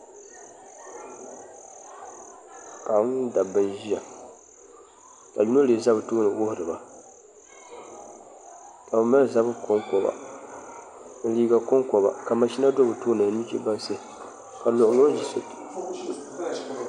Paɣaba mini dabba n ʒiya ka yino lee ʒɛ bi tooni wuhuriba ka bi mali zabiri konkoba ni liiga konkoba ka mashina do bi tooni ni nuchɛ bansi ka luɣuluɣu ʒɛ